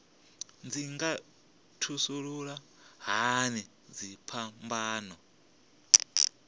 dzi nga thasulula hani dziphambano